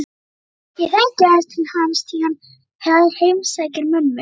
Ég þekki aðeins til hans því hann heimsækir mömmu